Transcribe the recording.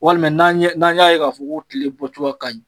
Walima n'an y'a ye k'a fɔ ko tile bɔcogo ka ɲi